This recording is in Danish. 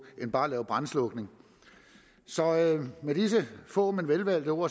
end bare at lave brandslukning med disse få men velvalgte ord